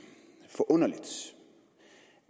forunderligt